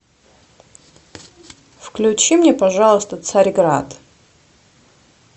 включи мне пожалуйста царь град